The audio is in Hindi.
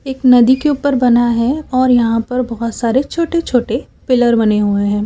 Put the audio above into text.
एक नदी के ऊपर बना है और यहां पर बहोत सारे छोटे छोटे पिलर बने हुए हैं।